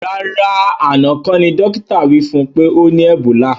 Rárá àná kọ́ ní dókítà wí fún pé ọ ní ẹ̀bólà